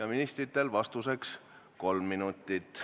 –, ministritel on vastamiseks aega kolm minutit.